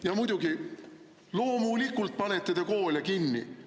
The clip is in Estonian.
Ja muidugi, loomulikult panete te koole kinni.